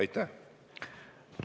Aitäh!